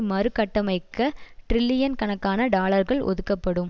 மறு கட்டமைக்க டிரில்லியன் கணக்கான டாலர்கள் ஒதுக்கப்படும்